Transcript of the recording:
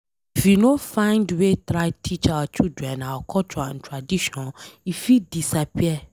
If we no find way try teach our children our culture and tradition, e fit disappear.